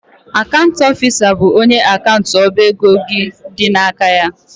Akant ọfisa bụ onye akant ọba ego gị dị n'aka ya.